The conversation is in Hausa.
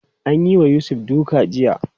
An yi wa Yusuf duka jiya.